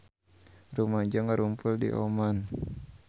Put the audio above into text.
Rumaja ngarumpul di Oman